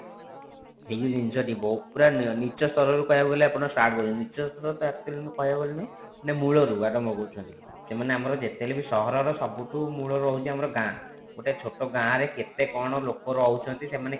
ଏଇ ଯେଉଁ ଜିନିଷ ଟି ପୁରା ନୀଚ ସ୍ତରରେ କହିବାକୁ ଗଲେ ଆପଣ ନୀଚ ସ୍ତର actually କହିବାକୁ ଗଲେ ମାନେ ମୂଳରୁ ଆରମ୍ଭ କରୁଛନ୍ତି ସେମାନେ ଆମର ଯେତେ ହେଲେ ବି ସହର ସବୁ ଠୁ ମୂଳ ରହୁଛି ଆମର ଗାଁ ଗୋଟେ ଛୋଟ ଗାଁ ରେ କେତେ କଣ ଲୋକ ରହୁଛନ୍ତି ସେମାନେ